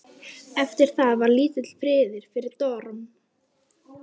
Eftir það var lítill friður fyrir dorm.